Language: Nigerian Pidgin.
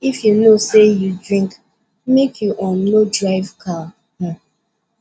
if you know sey you drink make you um no drive car um